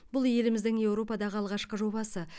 бұл еліміздің еуропадағы алғашқы жобасы